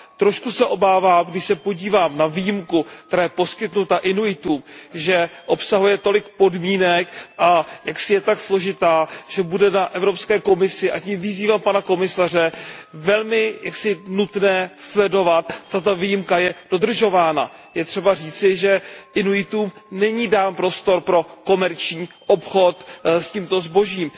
Trošku se obávám, když se podívám na výjimku, která je poskytnuta Inuitům, že obsahuje tolik podmínek a že je jaksi tak složitá, že bude na Evropské komisi a tím vyzývám pana komisaře aby velmi pozorně sledovala, zda ta výjimka je dodržována. Je třeba říci, že Inuitům není dán prostor pro komerční obchod s tímto zbožím.